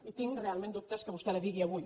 i tinc realment dubtes que vostè la digui avui